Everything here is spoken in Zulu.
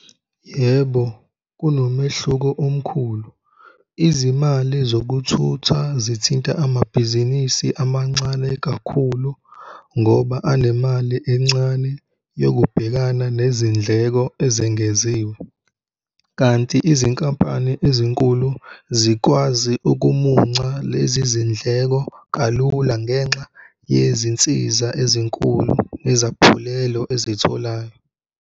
Yebo, kunomehluko omkhulu. Izimali zokuthutha zithinta amabhizinisi amancane kakhulu ngoba anemali encane yokubhekana nezindleko ezengeziwe. Kanti izinkampani ezinkulu zikwazi ukumunca lezi zindleko kalula ngenxa yezinsiza ezinkulu nezaphulelo eziy'tholayo.